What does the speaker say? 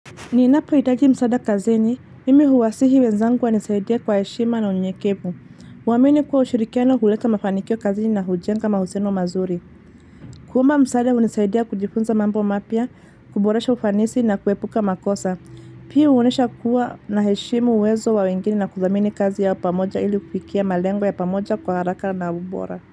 Ninapo hitaji msaada kazini, mimi huwasihi wenzangu wanisaidia kwa heshima na unyekevu. Kuwamini kwa ushirikiano huleta mafanikio kazini na hujenga mahusiano mazuri. Kuomba msaada hunisaidia kujifunza mambo mapya, kuboresha ufanisi na kuepuka makosa. Pia huonesha kuwa na heshimu uwezo wa wengine na kudhamini kazi ya pamoja ili kufia malengo ya pamoja kwa haraka na ubora.